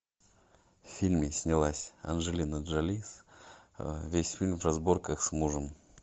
в фильме снялась анджелина джоли весь фильм в разборках с мужем